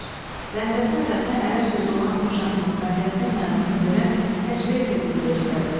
Bənzətmə əvəzinə ərəb sözü olan oxşatmaq bənzətmək mənasını verən təşbeh terminində işlədilir.